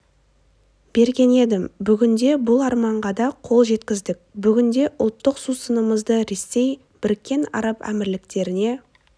берген едім бүгінде бұл арманға да қол жеткіздік бүгінде ұлттық сусынымызды ресей біріккен араб әмірліктеріне